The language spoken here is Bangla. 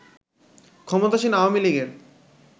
ক্ষমতাসীন আওয়ামী লীগের